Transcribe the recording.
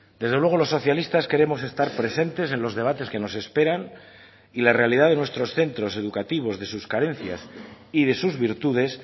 desde luego los socialistas queremos estar presentes en los debates que nos esperan y la realidad de nuestros centros educativos de sus carencias y de sus virtudes